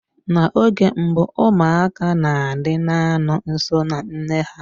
Na oge mbụ ụmụaka na-adị na-anọ nso na nne ha.